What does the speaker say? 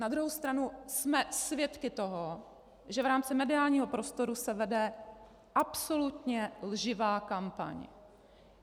Na druhou stranu jsme svědky toho, že v rámci mediálního prostoru se vede absolutně lživá kampaň.